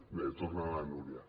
bé torna la núria